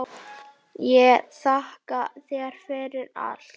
Ég þakka þér fyrir allt.